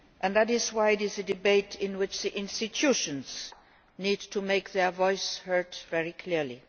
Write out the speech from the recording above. That is why it is a debate in which institutions need to make their voices heard very clearly.